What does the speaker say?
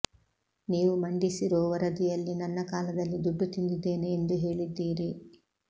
ನೀವು ಮಂಡಿಸಿರೋ ವರದಿಯಲ್ಲಿ ನನ್ನ ಕಾಲದಲ್ಲಿ ದುಡ್ಡು ತಿಂದಿದ್ದೇನೆ ಎಂದು ಹೇಳಿದ್ದೀರಿ